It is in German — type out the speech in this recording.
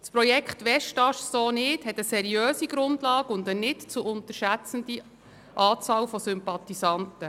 Das Projekt «Westast so nicht» hat eine seriöse Grundlage und eine nicht zu unterschätzende Anzahl von Sympathisanten.